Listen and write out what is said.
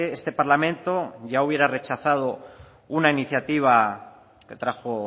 este parlamento ya hubiera rechazado una iniciativa que trajo